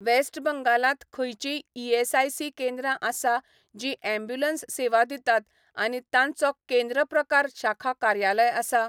West बंगालांत खंयचींय ESIC केंद्रां आसा जीं ॲम्ब्युलन्स सेवा दितात आनी तांचो केंद्र प्रकार शाखा कार्यालय आसा?